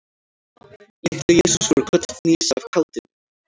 Litli-Jesús fór kollhnís af kátínu.